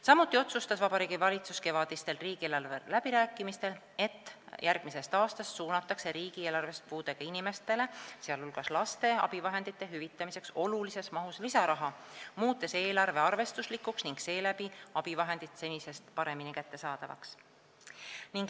Samuti otsustas Vabariigi Valitsus kevadistel riigieelarve läbirääkimistel, et järgmisest aastast suunatakse riigieelarvest puudega inimeste, sh laste abivahendite hüvitamiseks olulises mahus lisaraha, muutes eelarve arvestuslikuks ning seeläbi abivahendid senisest paremini kättesaadavaks.